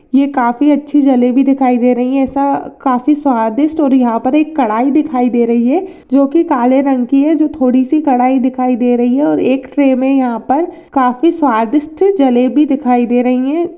ये काफी अच्छी जलेबी दिखाई दे रही है काफी स्वादिष्ट और यहाँ पे एक कड़ाई दिखाई दे रही है जो कि काले रंग की है जो थोड़ी सी कड़ाई दिखाई दे रही है और एक ट्रे में यहाँ पर काफी स्वादिष्ट जलेबी दिखाई दे रही है।